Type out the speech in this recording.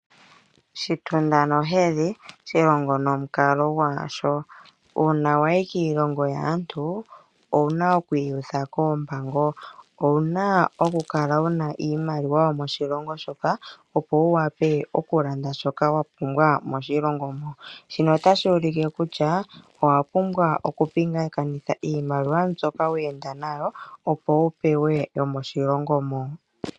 "Shitunda nohedhi, shilongo nomukalo gwasho". Uuna wa yi kiilongo yaantu, owu na okwiiyutha koompango. Owu na okukala wu na iimaliwa yomoshilongo shoka, opo wu wape okulanda shoka wa pumbwa moshilongo mo. Shino otashi ulike kutya owa pumbwa okupingakanitha iimaliwa mbyoka weenda nayo, opo wu pewe yomoshilongo mo.